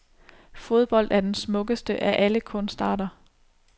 Fodbold er den smukkeste af alle kunstarter.